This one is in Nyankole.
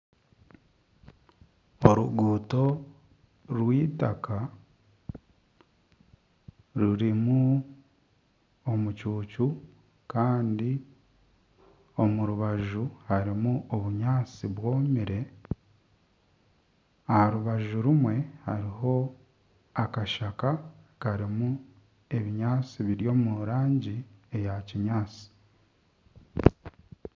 Oruguuto rw'eitaka rurimu omucucu kandi omu rubaju harimu obunyaatsi bwomire, aha rubaju rimwe hariho akashaka karimu ebinyaatsi biri omu rangi eya kinyaatsi